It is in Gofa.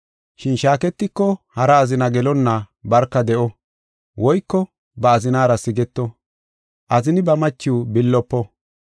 Shin shaaketiko hara azina gelonna barka de7o woyko ba azinara sigeto. Azini ba machiw billofo.